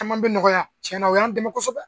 Caman bɛ nɔgɔya tiɲɛna o y'an dɛmɛ kosɛbɛ